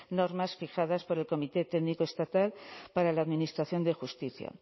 normas fijadas por el comité técnico estatal para la administración de justicia